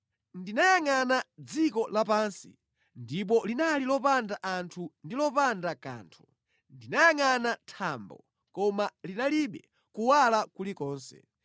Ndinayangʼana dziko lapansi, ndipo linali lopanda anthu ndi lopanda kanthu; ndinayangʼana thambo, koma linalibe kuwala kulikonse.